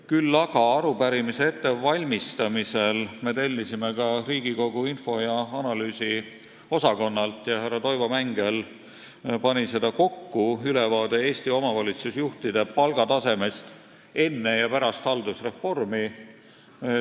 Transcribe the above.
Küll aga me tellisime arupärimise ettevalmistamisel Riigikogu Kantselei õigus- ja analüüsiosakonnalt – härra Toivo Mängel pani selle kokku – ülevaate Eesti omavalitsusjuhtide palgatasemest enne ja pärast haldusreformi.